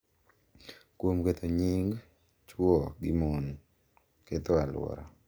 Kuom ketho nying’ chwo gi mon, ketho alwora,